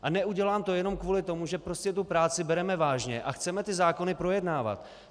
A neudělám to jenom kvůli tomu, že prostě tu práci bereme vážně a chceme ty zákony projednávat.